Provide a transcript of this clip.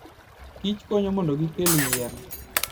kich konyo mondo gikel yien.